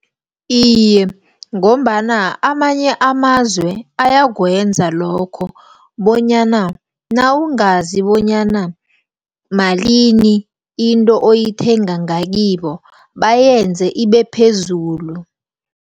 Iye, ngombana amanye amazwe ayakwenza lokho bonyana nawungazi bonyana malini into oyithengako ngakibo bayenze ibephezulu.